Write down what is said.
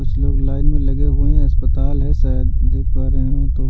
कुछ लोग लाइन में लगे हुए हैं अस्पताल है शायद देख पा रहे हो तो--